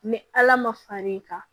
Ni ala ma far'i kan